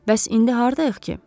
Bəs indi hardayıq ki?